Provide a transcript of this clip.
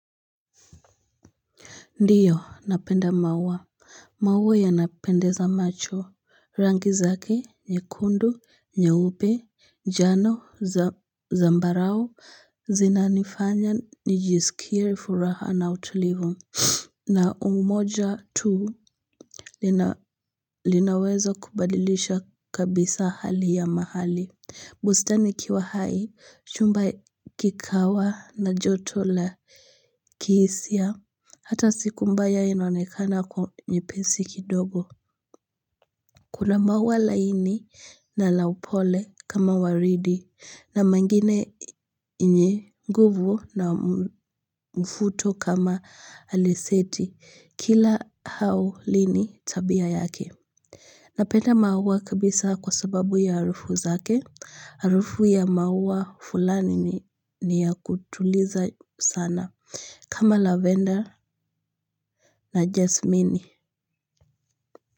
Ndiyo napenda maua maua yanapendeza macho rangi zake nyekundu nyeupe njano zambarau zinanifanya nijisikie furaha na utulivu na moja tu linaweza kubadilisha kabisa hali ya mahali bustani ikiwa hai, chumba kikawa na joto la kihisia, hata siku mbaya inaonekana kuwa nyepesi kidogo. Kuna maua laini na la upole kama waridi, na mengine yenye nguvu na mfuto kama aleseti, kila hau lina tabia yake. Napenda maua kabisa kwa sababu ya harufu zake. Harufu ya maua fulani ni ya kutuliza sana kama lavender na jasmini.